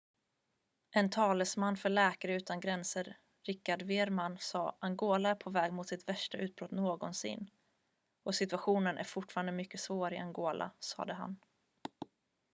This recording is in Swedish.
"""en talesman för läkare utan gränser richard veerman sa: "angola är på väg mot sitt värsta utbrott någonsin och situationen är fortfarande mycket svår i angola "sade han.""